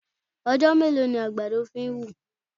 Ọjọ́ mélòó ni àgbàdo fi ń wù?